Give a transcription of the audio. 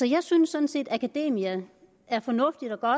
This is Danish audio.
jeg synes sådan set at akademia er fornuftigt og